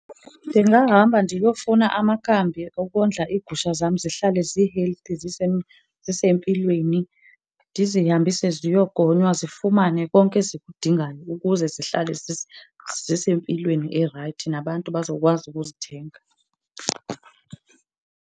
Ndingahamba ndiyofuna amakambi okondla iigusha zam zihlale zi-healthy, zisempilweni. Ndizihambise ziyogonywa zifumane konke ezikudingayo ukuze zihlale zisempilweni erayithi nabantu bazokwazi ukuzithenga.